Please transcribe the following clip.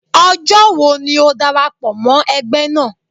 Ọjọ́ wo ni o darapọ̀ mọ́ ẹgbẹ́ naa?